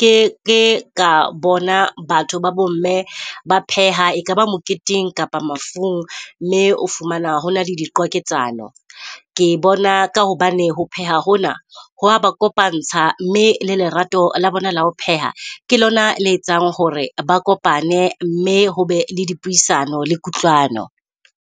ke ke ka bona batho babo mme ba pheha. E ka ba moketeng kapa mafung mme o fumana hona le diqwaketsano. Ke bona ka hobane ho pheha hona ho a ba kopantsha mme le lerato la bona le ho pheha. Ke lona le etsang hore ba kopane mme ho be le dipuisano le kutlwano.